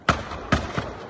İki atış səsi eşidilir.